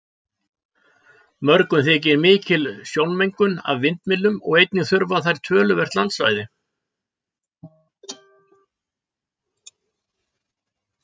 Mörgum þykir mikil sjónmengun af vindmyllum og einnig þurfa þær töluvert landsvæði.